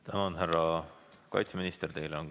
Tänan, härra kaitseminister!